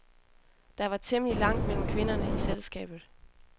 Der var temmelig langt mellem kvinderne i selskabet.